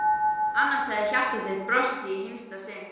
Annars hefði hjarta þitt brostið í hinsta sinn.